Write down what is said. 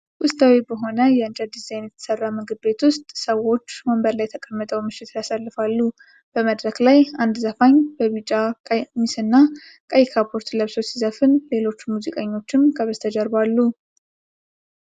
ውስጣዊ በሆነ የእንጨት ዲዛይን በተሰራ ምግብ ቤት ውስጥ፣ ሰዎች ወንበር ላይ ተቀምጠው ምሽት ያሳልፋሉ። በመድረክ ላይ አንድ ዘፋኝ በቢጫ ቀሚስና ቀይ ካፖርት ለብሶ ሲዘፍን፣ ሌሎች ሙዚቀኞችም ከበስተጀርባ አሉ።